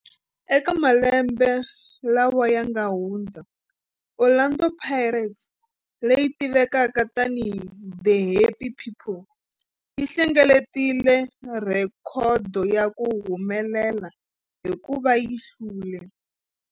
Eka malembe lawa yanga hundza, Orlando Pirates, leyi tivekaka tani hi 'The Happy People', yi hlengeletile rhekhodo ya ku humelela hikuva yi hlule